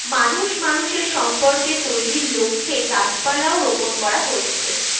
মানুষ মানুষের সম্পর্কের তৈরির লক্ষে গাছপালা ও রোপন করা হচ্ছে